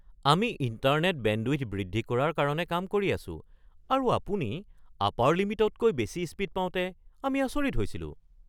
আমি internet bandwidth বৃদ্ধি কৰাৰ কাৰণে কাম কৰি আছোঁ আৰু আপুনি আপাৰ লিমিটতকৈ বেছি স্পীড পাওঁতে আমি আচৰিত হৈছিলোঁ।